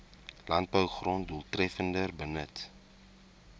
landbougrond doeltreffender benut